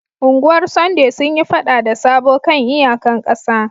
Ungwar Sunday sun yi fada da Sabo kan iyaƙan ƙasa.